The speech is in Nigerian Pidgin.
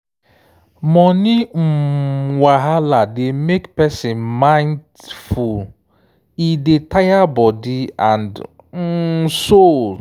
money um wahala dey make person mind full e dey tire body and um soul.